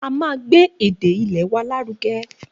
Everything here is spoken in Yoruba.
A ma má gbé èdè ilè wa láruge